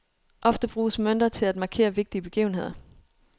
Ofte brugtes mønter til at markere vigtige begivenheder.